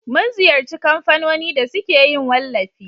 mun ziyarci kamfanoni da suke yin wallafi